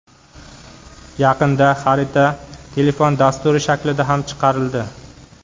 Yaqinda xarita telefon dasturi shaklida ham chiqarildi.